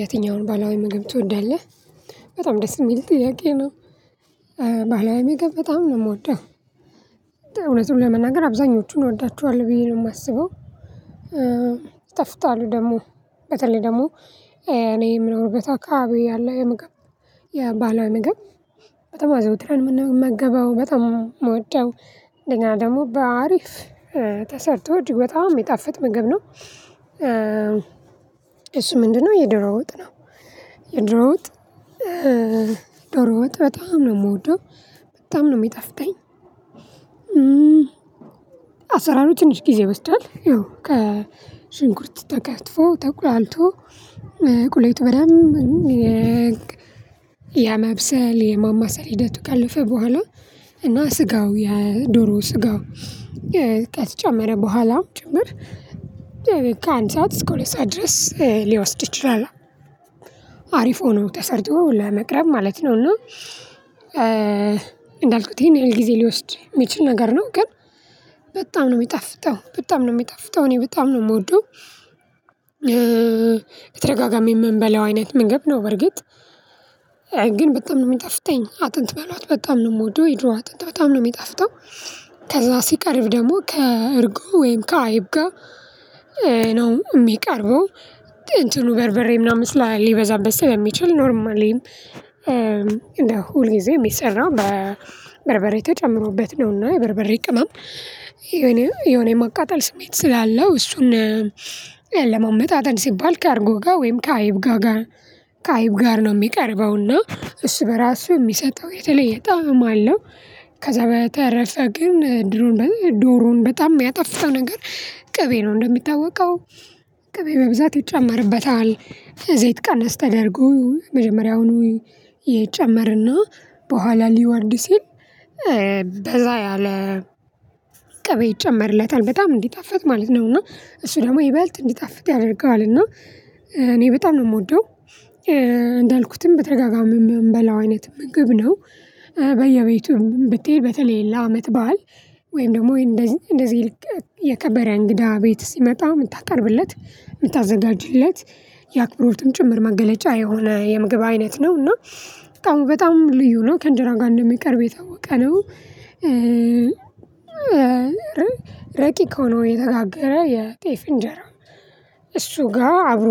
የትኛውን ባህላዊ ምግብ ትወዳለህ? በጣም ደስ የሚል ጥያቄ ነው። ባህላዊ ምገብ በጣም ነው የምወደው። እውነቱን ለመናገር አብዛኞቹን እወዳቸዋለሁ ብዬ ነው የማስበው። ይጠፍጣሉ ደግሞ በተለይ ደግሞ እኔ የምኖርበት አከባቢ ያለ የምግብ የባሀላዊ ምግብ በጣም አዘወትረን የምንመገበው በጣም ምወደው እንደገና ደግሞ በአሪፍ ተሰርቶ እጅግ በጣም የሚጣፍጥ ምግብ ነው። እሱ ምንድነው? የዶሮ ወጥ ነው። የዶሮ ወጥ ዶሮ ወጥ በጣም ነው የምወደው በጣም ነው የሚጣፍጠኝ። አሰራሩ ትንሽ ጊዜ ይወስዳል ያው ከሽንኩርት ተከትፎ ተኩላልቶ ቁሌቱ በደንብ የመብሰል የማማሰል ሂደቱ ከለፈ በኋላ እና ስጋው የዶሮ ስጋው ከተጨመረ በኋላም ጭምር ከአንድ ሰዓት እስከ ሁለት ሰዓት ድረስ ሊወስድ ይችላል። አሪፍ ሆኖ ተሰርቶ ለመቅረብ ማለት ነው። እና እንዳልኩት ይሄን ያህል ጊዜ ሊወስድ የሚችል ነገር ነው ግን በጣም ነው የሚጣፍጠው በጣም ነው የሚጣፍጠው እኔ በጣም ነው የምወደው። በተደጋጋሚ የምንበላው አይነት መግብ ነው በርግጥ። ግን በጣም ነው የሚጠፍተኝ አጥንት በሏት በጣም ነው የምወደው የዶሮ አጥንት በጣም ነው የሚጣፍጠው። ከዛ ሲቀርብ ደግሞ ከእርጉ ወይም ከአይብ ጋር ነው የሚቀርበው። እንትኑ በርበሬ ምናምን ስላ ሊበዛበት ስለሚችል ኖርማሊም እንደ ሁል ጊዜ የሚሰራው በበርበሬ ተጨምሮበት ነውና የበርበሬ ቅመም የሆነ የማቃጠል ስሜት ስላለው እሱን ለማመጣጠን ሲባል ከአርጎ ጋር ወይም ከአይብ ጋር ከአይብ ጋር ነው የሚቀርበውና እሱ በራሱ የሚሰጠው የተለየ ጣዕም አለው። ከዛ በተረፈ ግን ዶሮን በጣም የሚያጣፍጠው ነገር ቅቤ ነው። እንደሚታወቀው ቅቤ በብዛት ይጨመርበታል። ዘይት ቀነስ ተደርጎ መጀመሪያውኑ ይጨመርና በኋላ ሊወርድ ሲል በዛ ያለ ቅቤ ይጨመርለታል በጣም እንዲጣፈጥ ማለት ነውና። እሱ ደግሞ ይበልጥ እንዲጣፍጥ ያደርገዋል እና እኔ በጣም ነው የምወደው። እንዳልኩትም ብተደጋጋሚ የምንበላው አይነት ምግብ ነው። በየቤቱም ብትሄድ በተለይ ለአመት በዓል ወይም ደግሞ ይሄን እንደዚህ እንደዚህ የከበረ እንግዳ ቤት ሲመጣ የምታቀርብለት የምታዘጋጅለት የአክብሮትም ጭምር መገለጫ የሆነ የምግብ አይነት ነው እና በጣም በጣም ልዩ ነው ከእንጀራ ጋር እንደሚቀርብ የታወቀ ነው። ረቂቅ ሆኖ የተጋገረ የጤፍ እንጀራ እሱ ጋር አብሮ